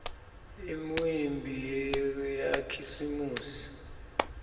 imiumbi yakhisimusi